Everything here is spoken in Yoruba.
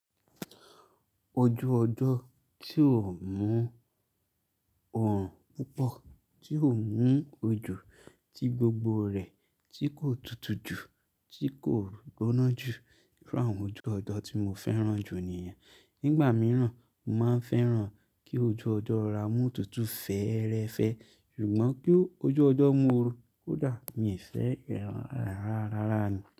Ojú ọjọ́ tí ò mú òòrùn púpọ̀, tí ò mú òjò ti gbogbo rẹ̀, tí kò tutù ju, tí kò gbóná ju, irú àwọn ojú ọjọ́ tí mo fẹ́ràn jù nìyẹn. Nígbà mìíràn, mo máa ń fẹ́ràn kí ojú ọjọ́ rọra mú òtútù fẹ́ẹ́rẹ́fẹ́ ṣùgbọ́n kí ojú ọjọ́ mú ooru kódà mi ò fẹ́ ẹràn rárá rárá ni.